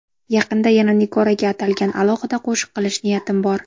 Yaqinda yana Nigoraga atalgan alohida qo‘shiq qilish niyatim bor.